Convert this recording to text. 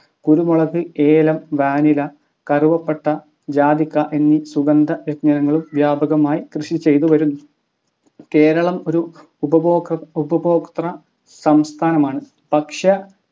കുരുമുളക് ഏലം vanilla കറുവപ്പട്ട ജാതിക്ക എന്നീ സുഗന്ധ വ്യഞ്ജനങ്ങളും വ്യാപകമായി കൃഷിചെയ്തു വരുന്നു കേരളം ഒരു ഉപഭോഗ ഉപഭോക്തസംസ്ഥാനമാണ് ഭക്ഷ്യ